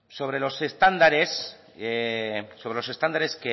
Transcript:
sobre los estándares